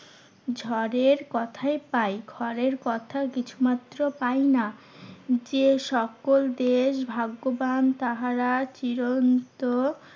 ঝড়ের কথাই পাই খড়ের কথা কিছুমাত্র পাইনা। যেসকল দেশ ভাগ্যবান তাহারা চিরন্ত